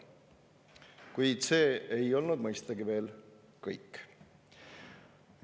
Kuid see ei olnud mõistagi veel kõik.